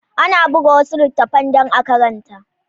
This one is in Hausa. Ana buga wasu littattafan dan a karanta